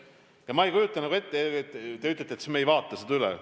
Ma ei kujuta nagu ette, kui te ütlete, et siis me ei vaata seda üle.